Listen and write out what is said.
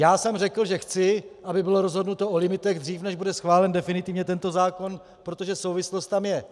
Já jsem řekl, že chci, aby bylo rozhodnuto o limitech dřív, než bude schválen definitivně tento zákon, protože souvislost tam je.